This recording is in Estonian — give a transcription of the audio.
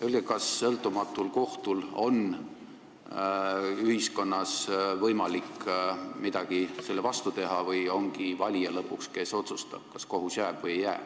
Öelge, kas sõltumatul kohtul on ühiskonnas võimalik midagi selle vastu teha või lõpuks otsustabki valija, kas kohus jääb või ei jää.